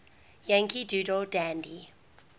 yankee doodle dandy